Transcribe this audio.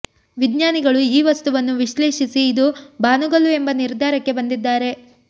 ವಿಜ್ಞಾನಿಗಳು ಈ ವಸ್ತುವನ್ನು ವಿಶ್ಲೇಷಿಸಿ ಇದು ಬಾನುಗಲ್ಲು ಎಂಬ ನಿರ್ಧಾರಕ್ಕೆ ಬಂದಿದ್ದಾರೆ